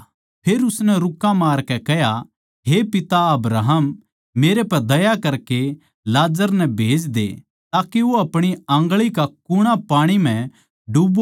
साहूकार नरक म्ह गेरया गया अर नरक की ताड़णा तै दर्द म्ह पड़े होए अपणी निगांह ठाई दूर तै ए अब्राहम के साथ लाजर ताहीं देख्या